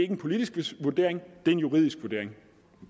en politisk vurdering det er en juridisk vurdering